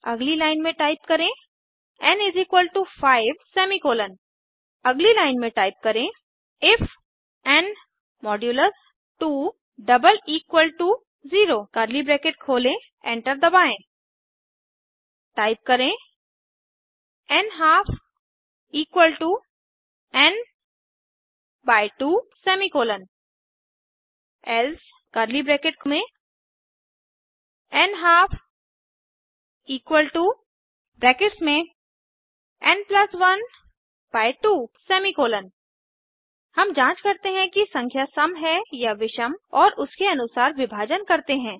अगली लाइन में टाइप करें एन 5 अगली लाइन में टाइप करें इफ एन 2 0 एंटर दबाएँ टाइप करें nhalf n 2 else nhalf n 1 2 हम जांच करते हैं कि संख्या सम है या विषम और उसके अनुसार विभाजन करते हैं